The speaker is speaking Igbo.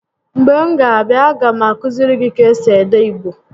Mgbe m ga a abịa, a ga m akụiziri gị ka esi ede Igbo